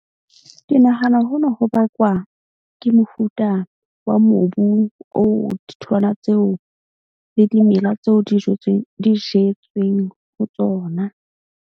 Ke nahana hona ho bakwa ke mofuta wa mobu oo ditholwana tseo, le dimela tseo di jwetsweng di jetsweng ho tsona.